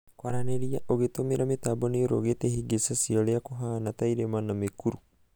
kwaranĩria ũgĩtũmĩra mĩtambo nĩĩrũgĩte ihĩngĩca cia ũria kũhana ta irĩma na mĩkuru.